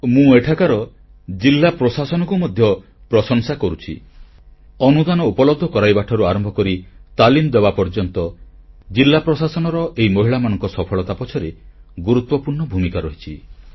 ମୁଁ ଏଠାକାର ଜିଲ୍ଲା ପ୍ରଶାସନକୁ ମଧ୍ୟ ପ୍ରଶଂସା କରୁଛି ଅନୁଦାନ ଉପଲବ୍ଧ କରାଇବାଠାରୁ ଆରମ୍ଭ କରି ତାଲିମ ଦେବା ପର୍ଯ୍ୟନ୍ତ ଜିଲ୍ଲା ପ୍ରଶାସନର ଏହି ମହିଳାମାନଙ୍କ ସଫଳତା ପଛରେ ଗୁରୁତ୍ୱପୂର୍ଣ୍ଣ ଭୂମିକା ରହିଛି